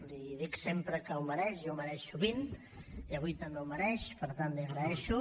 l’hi dic sempre que ho mereix i ho mereix sovint i avui també ho mereix per tant l’hi agraeixo